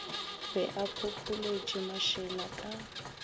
be a phopholetše mašela ka